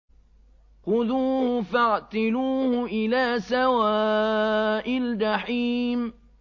خُذُوهُ فَاعْتِلُوهُ إِلَىٰ سَوَاءِ الْجَحِيمِ